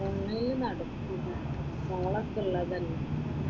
ഓൺലൈനില് നടക്കൂല് മോളൊക്കെ ഉള്ളതല്ലേ.